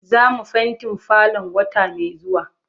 Zamu fentin falon wata mai zuwa.